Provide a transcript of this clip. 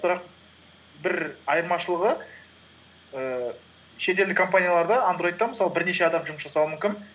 бірақ бір айырмашылығы ііі шетелдік компанияларда андроидта мысалы бірнеше адам жұмыс жасауы мүмкін